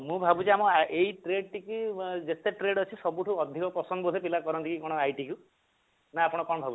ମୁଁ ଭାବୁଛି ଆମ ଏଇ trade ଟିକି ଆମ ଯେତେ trade ଅଛି ସବୁଠୁ ଅଧିକ ପସନ୍ଦ ବୋଧେ କରନ୍ତି କି କଣ ITନା ଆପଣ କଣ ଭାବୁଛନ୍ତି